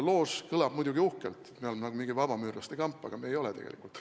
Loož kõlab muidugi uhkelt, me oleme nagu mingi vabamüürlaste kamp, aga me ei ole tegelikult.